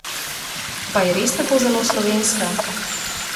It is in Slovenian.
Pa je res tako zelo slovenska?